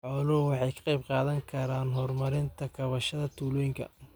Xooluhu waxay ka qayb qaadan karaan horumarinta kaabayaasha tuulooyinka.